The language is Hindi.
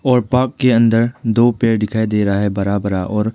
और पार्क के अंदर दो पेड़ दिखाई दे रहा है बड़ा बड़ा और--